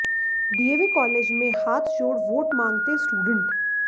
DAV college में हाथ जोड़ वोट मांगते स्टूडेंट